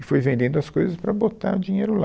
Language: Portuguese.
E foi vendendo as coisas para botar o dinheiro lá.